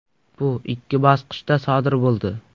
Bu ikki bosqichda sodir bo‘ldi.